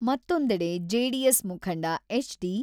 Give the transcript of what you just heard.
ಮತ್ತೊಂದಡೆ, JDS ಮುಖಂಡ H D.